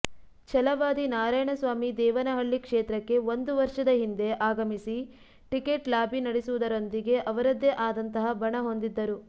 ಛಲವಾದಿ ನಾರಾಯಣಸ್ವಾಮಿ ದೇವನಹಳ್ಳಿ ಕ್ಷೇತ್ರಕ್ಕೆ ಒಂದು ವರ್ಷದ ಹಿಂದೆ ಆಗಮಿಸಿ ಟಿಕೆಟ್ ಲಾಬಿ ನಡೆಸುವುರೊಂದಿಗೆ ಅವರದ್ದೇ ಆದಂತಹ ಬಣ ಹೊಂದಿದ್ದರು